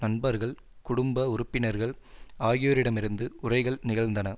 நண்பர்கள் குடும்ப உறுப்பினர்கள் ஆகியோரிடமிருந்து உரைகள் நிகழ்ந்நதன